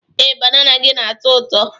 Ee, banana gị na-atọ ụtọ.